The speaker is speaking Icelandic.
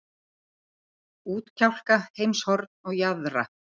ÚTKJÁLKA, HEIMSHORN OG JAÐRA.